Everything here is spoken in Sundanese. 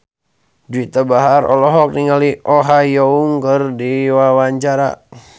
Juwita Bahar olohok ningali Oh Ha Young keur diwawancara